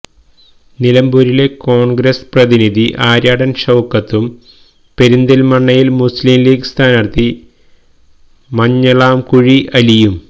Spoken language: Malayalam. നിലമ്പൂരിലെ കോൺഗ്രസ് പ്രതിനിധി ആര്യാടൻ ഷൌക്കത്തും പെരിന്തൽമണ്ണയിൽ മുസ്ലിംലീഗ് സ്ഥാനാർഥി മഞ്ഞളാംകുഴി അലിയും